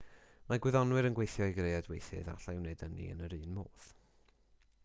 mae gwyddonwyr yn gweithio i greu adweithydd a allai wneud ynni yn yr un modd